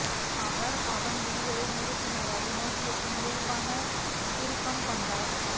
அவள் அவன் விழிகளை நேருக்கு நேராக நோக்கியபின் இயல்பாக திரும்பிக்கொண்டாள்